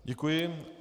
Děkuji.